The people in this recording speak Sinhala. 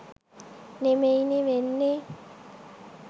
නෙමෙයිනේ වෙන්නේ